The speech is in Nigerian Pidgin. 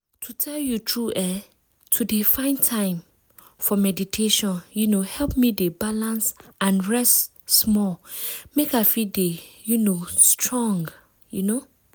to tell you true eeh! to dey find time for meditation um help me dey balance and rest small make i fit dey um strong um.